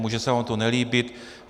Může se vám to nelíbit.